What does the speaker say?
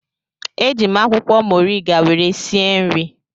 Eji m akwụkwọ moriga were sie nri